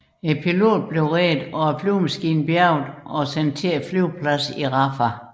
Piloten blev reddet og flyet bjærget og sendt til flyvepladsen i Rafah